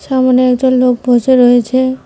সামনে একজন লোক বসে রয়েছে।